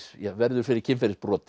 verður fyrir kynferðisbroti